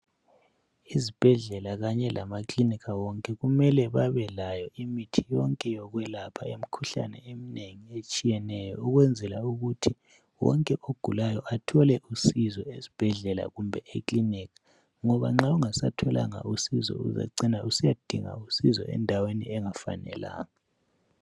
Ezibhendlela Kanye lamakilinika wonke kumele imithi yonke yokwelapha imkhuhlane eminengi etshiyeneyo ukwenzela ukuthi wonke ogulayo athole usizo esibhedlela kumbe ekilinika ngoba nxa ungasatholanga usizo uzacina usiyadinga usizo endaweni engafanelanga.